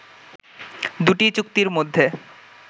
দুটি চুক্তির মধ্যে